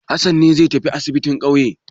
Hassan ne zai tafi asibin ƙauye.